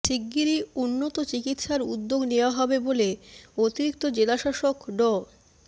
শিগগিরই উন্নত চিকিৎসার উদ্যোগ নেওয়া হবে বলে অতিরিক্ত জেলাশাসক ড